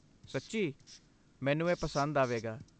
ਸੱਚੀਂ? ਮੈਨੂੰ ਇਹ ਪਸੰਦ ਆਵੇਗਾ।